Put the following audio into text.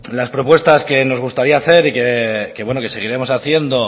las propuestas que nos gustaría hacer y que seguiremos haciendo